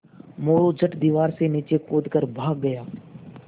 मोरू झट दीवार से नीचे कूद कर भाग गया